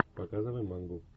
показывай мангу